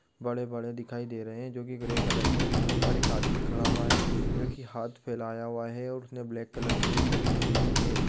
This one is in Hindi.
बड़े-बड़े दिखाई दे रहे है जो कि ग्रे कलर के है उसके ऊपर एक आदमी खड़ा हुआ है जो कि हाथ फैलाया हुआ है और उसने ब्लैक कलर की टी-शर्ट पहनी हुई है।